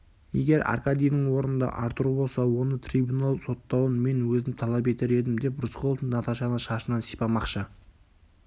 егер аркадийдің орнында артур болса оны трибунал соттауын мен өзім талап етер едім деп рысқұлов наташаны шашынан сипамақшы